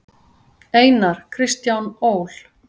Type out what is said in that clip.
Einar: Kristján Ól.